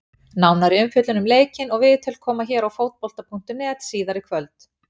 Nánari umfjöllun um leikinn og viðtöl koma hér á Fótbolta.net síðar í kvöld.